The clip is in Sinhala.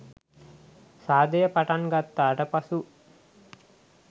සාදය පටන් ගත්තාට පසු